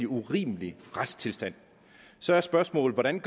urimelig retstilstand så er spørgsmålet hvordan